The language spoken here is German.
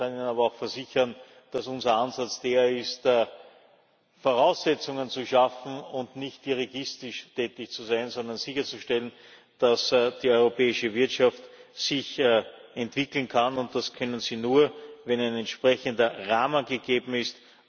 Ich kann Ihnen aber auch versichern, dass unser Ansatz der ist, Voraussetzungen zu schaffen und nicht dirigistisch tätig zu sein, sondern sicherzustellen, dass die europäische Wirtschaft sich entwickeln kann, und das kann sie nur, wenn ein entsprechender Rahmen gegeben ist.